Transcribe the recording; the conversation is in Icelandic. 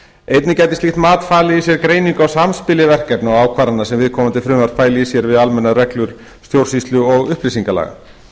einnig gæti slíkt mat falið í sér greiningu á samspili verkefna og ákvarðana sem viðkomandi frumvarp fæli í sér við almennar reglur stjórnsýslu og upplýsingalaga